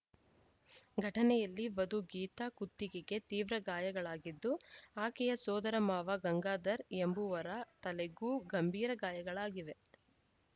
ಘಟನೆಯಲ್ಲಿ ವಧು ಗೀತಾ ಕುತ್ತಿಗೆಗೆ ತೀವ್ರ ಗಾಯಗಳಾಗಿದ್ದು ಆಕೆಯ ಸೋದರ ಮಾವ ಗಂಗಾಧರ್‌ ಎಂಬುವರ ತಲೆಗೂ ಗಂಭೀರ ಗಾಯಗಳಾಗಿವೆ